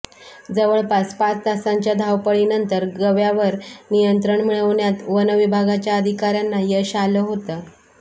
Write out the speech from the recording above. जवळपास पाच तासांच्या धावपळीनंतर गव्यावर नियंत्रण मिळवण्यात वन विभागाच्या अधिकाऱ्यांना यश आलं होतं